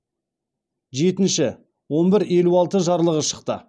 жетінші он бір елу алты жарлығы шықты